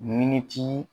Miniti